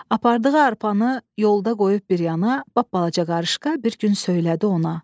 Apardığı arpanı yolda qoyub bir yana, lap balaca qarışqa bir gün söylədi ona.